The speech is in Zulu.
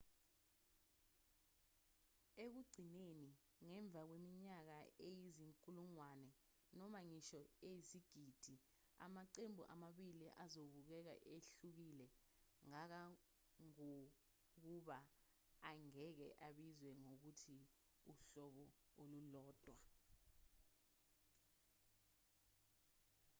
ekugcineni ngemva kweminyaka eyizinkulungwane noma ngisho eyizigidi amaqembu amabili azobukeka ehlukile kangangokuba angeke abizwe ngokuthi uhlobo olulodwa